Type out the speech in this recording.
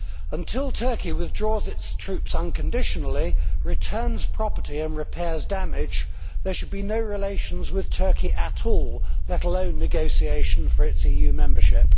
Until Turkey withdraws its troops unconditionally, returns property and repairs damage, there should be no relations with Turkey at all, let alone negotiation for its EU membership.